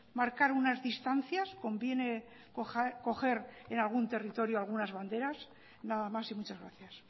marcar unas distancias conviene coger en algún territorio algunas banderas nada más y muchas gracias